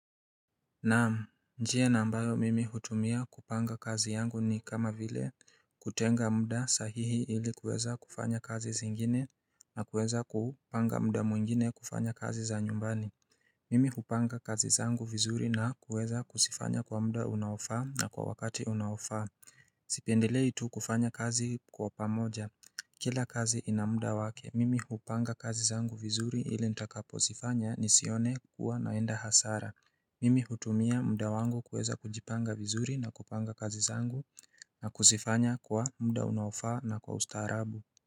Naam, njia na ambayo mimi hutumia kupanga kazi yangu ni kama vile kutenga mda sahihi ili kuweza kufanya kazi zingine na kuweza kupanga mda mwingine kufanya kazi za nyumbani Mimi hupanga kazi zangu vizuri na kuweza kuzifanya kwa mda unaofaa na kwa wakati unaofaa Sipendile tu kufanya kazi kwa pamoja Kila kazi ina muda wake, mimi hupanga kazi zangu vizuri ili nitakapo zifanya ni sione kuwa naenda hasara Mimi hutumia mda wangu kueza kujipanga vizuri na kupanga kazi zangu na kuzifanya kwa mda unaofaa na kwa ustaarabu.